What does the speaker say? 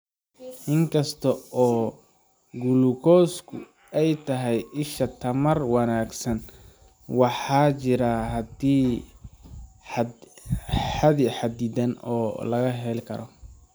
Inkasta oo gulukoosku ay tahay isha tamar wanaagsan, waxaa jira xaddi xadidan oo la heli karo.